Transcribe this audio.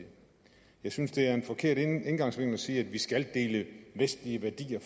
jeg synes det er en forkert indgangsvinkel at sige at vi skal dele vestlige værdier